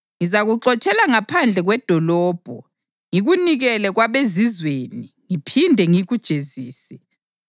Ngizakuxotshela ngaphandle kwedolobho ngikunikele kwabezizweni ngiphinde ngikujezise.